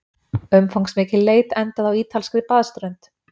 Umfangsmikil leit endaði á ítalskri baðströnd